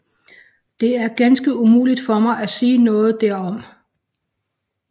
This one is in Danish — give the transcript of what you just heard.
Det er ganske umuligt for mig at sige noget derom